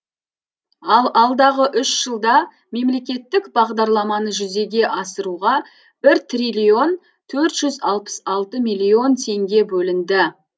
ал алдағы үш жылда мемлекеттік бағдарламаны жүзеге асыруға бір триллион төрт жүз алпыс алты миллион теңге бөлінді